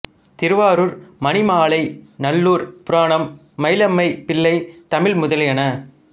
திருவாரூர் மணிமாலை நல்லுர்ப் புராணம் மயிலம்மை பிள்ளைத் தமிழ் முதலியன